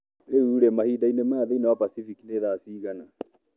Rĩu-rĩ, mahinda-inĩ maya thĩinĩ wa Pasifiki ni thaa cigana